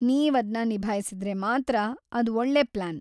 ನೀವ್‌ ಅದ್ನ ನಿಭಾಯಿಸಿದ್ರೆ ಮಾತ್ರ ಅದ್‌ ಒಳ್ಳೇ ಪ್ಲಾನ್.